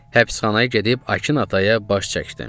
Həbsxanaya gedib Akın ataya baş çəkdim.